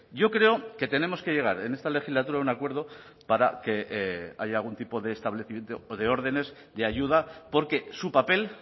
yo creo que tenemos que llegar en esta legislatura a un acuerdo para que haya algún tipo de establecimiento o de órdenes de ayuda porque su papel